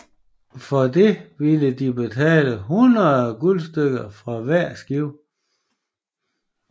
For det ville de betale 100 guldstykker fra hvert skib